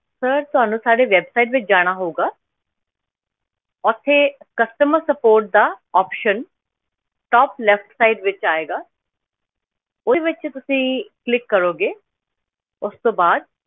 Sir ਤੁਹਾਨੂੰ ਸਾਡੀ website ਵਿੱਚ ਜਾਣਾ ਹੋਊਗਾ ਉੱਥੇ customer support ਦਾ option top left side ਵਿੱਚ ਆਏਗਾ ਉਹਦੇ ਵਿੱਚ ਤੁਸੀਂ click ਕਰੋਗੇ, ਉਸ ਤੋਂ ਬਾਅਦ,